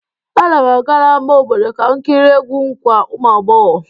Ana m aga n'ámá obodo ka m kirie egwu nkwa ụmụagbọghọ.